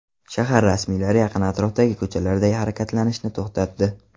Shahar rasmiylari yaqin atrofdagi ko‘chalarda harakatlanishni to‘xtatdi.